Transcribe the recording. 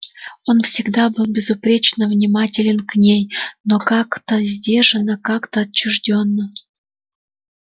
он всегда был безупречно внимателен к ней но как-то сдержанно как-то отчуждённо